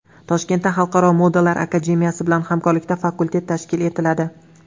Toshkentda Xalqaro modalar akademiyasi bilan hamkorlikda fakultet tashkil etiladi.